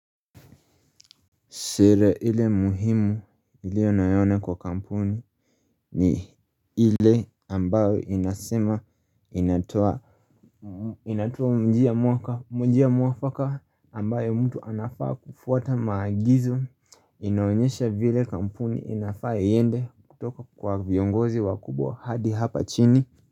Sheria ile muhimu nilioyaona kwa kampuni ni ile ambayo inasema inatoa njia muafaka ambayo mtu anafaa kufuata maagizo inaonyesha vile kampuni inafaa iende kutoka kwa viongozi wakubwa hadi hapa chini.